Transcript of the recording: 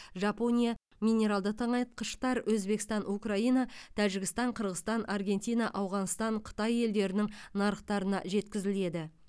жапония минералды тыңайтқыштар өзбекстан украина тәжістан қырғызстан аргентина ауғанстан қытай елдерінің нарықтарына жеткізіледі